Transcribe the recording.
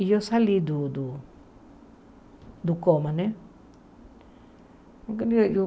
E eu saí do do do coma, né? eu